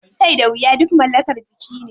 Kai da wuya duk mallakar jiki ne.